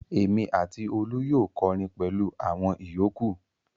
Èmi àti Olú yóò kọrin pẹ̀lú àwọn ìyókù.